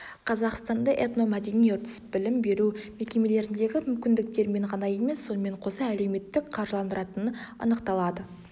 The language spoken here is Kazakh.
қазақстанда этномәдени үрдіс білім беру мекемелеріндегі мүмкіндіктерімен ғана емес сонымен қоса әлеуметтік қаржыландыратын анықталады